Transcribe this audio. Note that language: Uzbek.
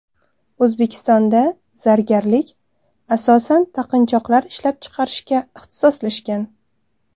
O‘zbekistonda zargarlik asosan taqinchoqlar ishlab chiqarishga ixtisoslashgan.